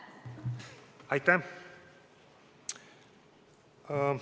Aitäh!